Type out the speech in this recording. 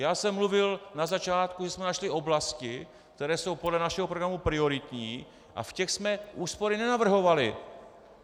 Já jsem mluvil na začátku, že jsme našli oblasti, které jsou podle našeho programu prioritní, a v těch jsme úspory nenavrhovali!